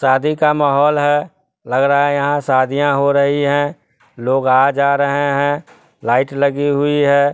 शादी का माहौल है लग रहा है यहाँ शादियाँ हो रही हैं लोग आ जा रहे हैं लाइट लगी हुई है।